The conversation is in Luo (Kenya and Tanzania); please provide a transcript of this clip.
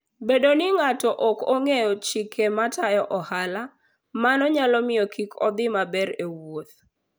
Bedo ni ng'ato ok ong'eyo chike matayo ohala, mano nyalo miyo kik odhi maber e wuoth.